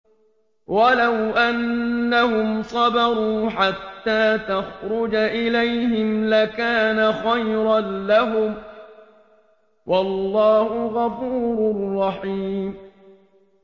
وَلَوْ أَنَّهُمْ صَبَرُوا حَتَّىٰ تَخْرُجَ إِلَيْهِمْ لَكَانَ خَيْرًا لَّهُمْ ۚ وَاللَّهُ غَفُورٌ رَّحِيمٌ